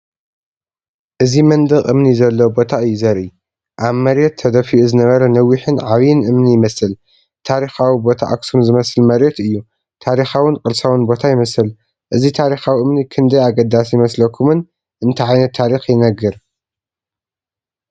እዚ መንደቕ እምኒ ዘለዎ ቦታ እዩ ዘርኢ። ኣብ መሬት ተደፊኡ ዝነበረ ነዊሕን ዓቢን እምኒ ይመስል። ታሪኻዊ ቦታ ኣኽሱም ዝመስል መሬት እዩ። ታሪኻውን ቅርሳውን ቦታ ይመስል። እዚ ታሪኻዊ እምኒ ክንደይ ኣገዳሲ ይመስለኩምን እንታይ ዓይነት ታሪክ ይነግር?